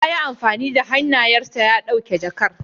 Ya yi amfani da hannayensa ya ɗauki jakar.